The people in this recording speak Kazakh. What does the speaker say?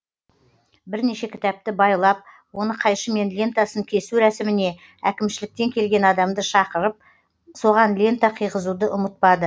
бірнеше кітапты байлап оны қайшымен лентасын кесу рәсіміне әкімшіліктен келген адамды шақырып соған лента қыйғызуды ұмытпады